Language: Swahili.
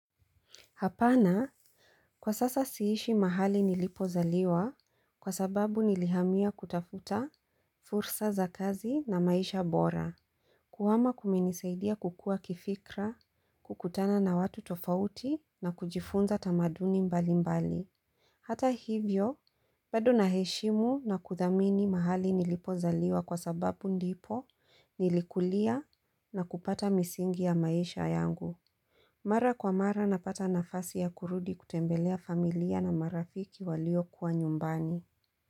Hapana, kwa sasa siishi mahali nilipo zaliwa kwa sababu nilihamia kutafuta fursa za kazi na maisha bora. Kuhama kumenisaidia kukua kifikra, kukutana na watu tofauti na kujifunza tamaduni mbali mbali. Hata hivyo, bado na heshimu na kuthamini mahali nilipo zaliwa kwa sababu ndipo nilikulia na kupata misingi ya maisha yangu. Mara kwa mara napata nafasi ya kurudi kutembelea familia na marafiki walio kuwa nyumbani.